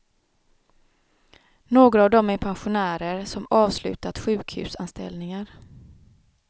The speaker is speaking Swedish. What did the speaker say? Några av dem är pensionärer, som avslutat sjukhusanställningar.